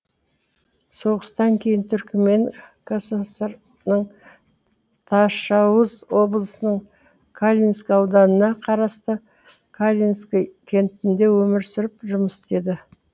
соғыстан кейін түрікмен кср ның ташауз облысының калининск ауданына қарасты калининск кентінде өмір сүріп жұмыс істеді